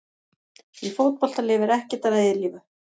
Í fótbolta lifir ekkert að eilífu.